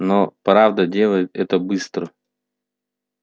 но правда делает это быстро